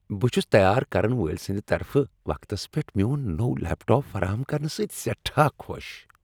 بہٕ چھٗس تیار کرن وٲلۍ سندِ طرفہٕ وقتس پیٹھ میون نووو لیپ ٹاپ فراہم کرنہٕ سۭتۍ سیٹھاہ خوش ۔